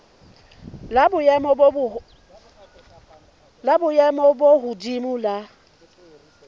la boemo bo hodimo la